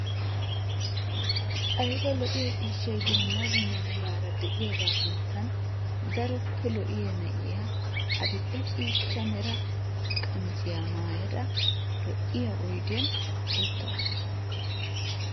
Ayba lo"iya ciishshay dumma dumma meraara de'iyaga sinttan daroppe lo''iya na'iya adil"e ciishshaa mera qamisiya maayada lo''iya oydiyan uttaasu.